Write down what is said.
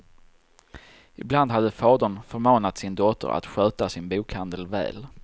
Ibland hade fadern förmanat sin dotter att sköta sin bokhandel väl.